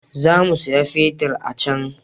Za mu saya fetir a can